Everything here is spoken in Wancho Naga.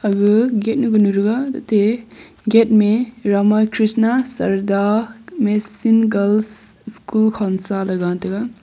aga gate nu kanu thega ate gate mey rama khrishna sarada mission girls school khonsa ley gataga.